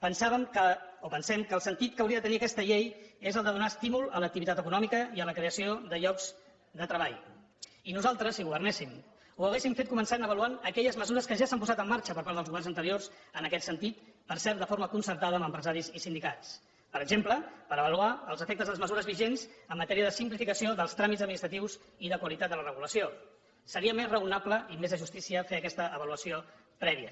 pensàvem o pensem que el sentit que hauria de tenir aquesta llei és el de donar estímul a l’activitat econòmica i a la creació de llocs de treball i nosaltres si governéssim ho hauríem fet començant avaluant aquelles mesures que ja s’han posat en marxa per part dels governs anteriors en aquest sentit per cert de forma concertada amb empresaris i sindicats per exemple per avaluar els efectes de les mesures vigents en matèria de simplificació dels tràmits administratius i de qualitat de la regulació seria més raonable i més de justícia fer aquesta avaluació prèvia